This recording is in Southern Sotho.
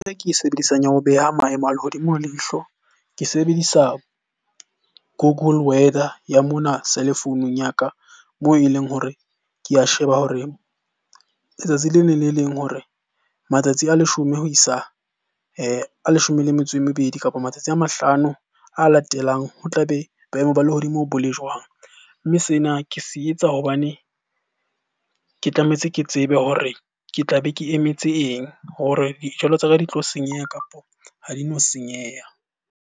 E ke e sebedisang ya ho beha maemo a lehodimo leihlo, ke sebedisa Google Weather ya mona cellphone-ung ya ka. Moo e leng hore ke a sheba hore letsatsi le leng le leng hore matsatsi a leshome ho isa a leshome le metso e mebedi, kapo matsatsi a mahlano a latelang ho tlabe boemo ba lehodimo bo le jwang? Mme sena ke se etsa hobane ke tlametse ke tsebe hore ke tlabe ke emetse eng hore dijalo tsa ka di tlo senyeha, kapo ha di no senyeha?